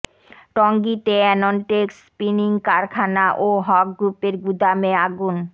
টঙ্গীতে Anontex spinning কারখানা ও হক গ্রুপের গুদামে আগুন